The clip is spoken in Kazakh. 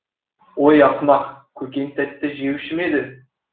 ой ақымақ көкең тәтті жеуші ме еді